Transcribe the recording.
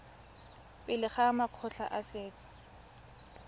pele ga makgotla a setso